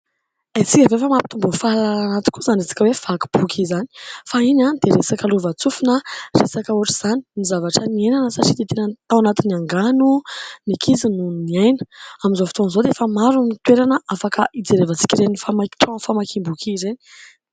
Haintsika ve fa mampitombo fahalalàna tokoa izany resaka hoe vaky boky izany ? Fahiny dia resaka lovantsofina resaka ohatra izany ny zavatra niainana satria dia tena tao anatin'ny angano ny ankizy noho niaina. Amin'izao fotoan'izao dia efa maro ny toerana afaka hijerevantsika ireny trano famakiam-boky ireny